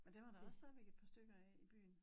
Men dem er der også stadigvæk et par stykker af i byen